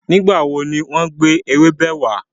Nígbàwo ni wọn gbé ewébẹ̀ wà?